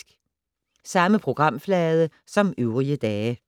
Samme programflade som øvrige dage